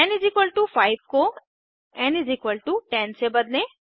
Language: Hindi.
एन 5 को एन 10 से बदलें